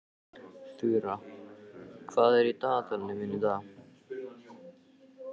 Þura, hvað er í dagatalinu mínu í dag?